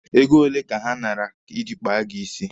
Ego ole ka ha nara iji kpaa gị isi?